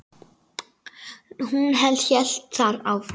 Hún hélt þar áfram